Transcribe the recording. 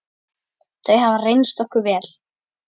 Þau hafa reynst okkur vel.